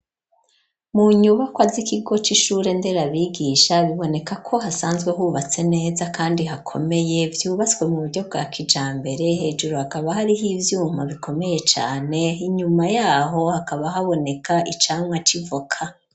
Mu nyubakwa z'ikigo c'ishure nderabigisha biboneka ko hasanzwe hubatse neza kandi hakomeye vyubatswe mu buryo bwa kijambere hejuru hakaba hariho ivyuma bikomeye cane inyuma yaho hakaba haboneka icamwa c'ivoka.